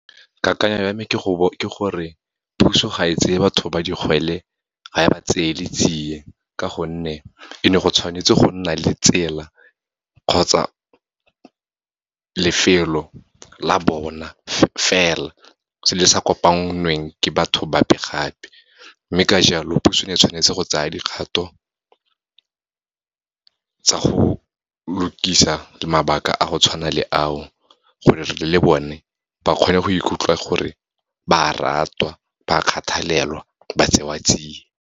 Kakanyo ya me ke gore puso ga e tseye batho ba digwele, ga e ba tseele tsie, ka gonne e ne go tshwanetse go nna le tsela kgotsa lefelo la bona fela, se le sa kopanweng ke batho bape gape. Mme ka jalo, puso e ne e tshwanetse go tsa dikgato tsa go lokisa mabaka a go tshwana le ao, gore le bone ba kgone go ikutlwa gore ba ratwa, ba kgathalelwa, ba tsewa tsia.